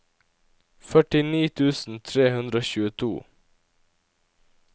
førtini tusen tre hundre og tjueto